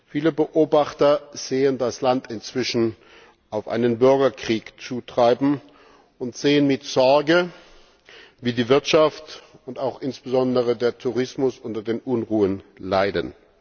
Viele Beobachter sehen das Land inzwischen auf einen Bürgerkrieg zutreiben und sehen mit Sorge, wie die Wirtschaft und auch insbesondere der Tourismus unter den Unruhen leiden.